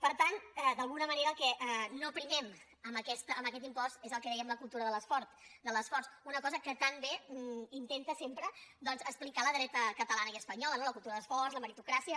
per tant d’alguna manera el que no primem amb aquest impost és el que en dèiem la cultura de l’esforç una cosa que tan bé intenta sempre doncs explicar la dreta catalana i espanyola no la cultura de l’esforç la meritocràcia